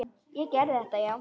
Ég gerði þetta, já.